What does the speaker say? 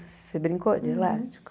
Você brincou de elástico?